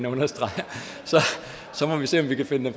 understreger så må vi se om vi kan finde